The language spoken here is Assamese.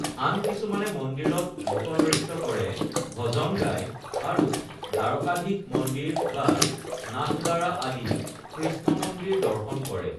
আন কিছুমানে মন্দিৰত লোকনৃত্য কৰে, ভজন গায় আৰু দ্বাৰকাধীশ মন্দিৰ বা নাথদ্বাৰা আদি কৃষ্ণ মন্দিৰ দৰ্শন কৰে।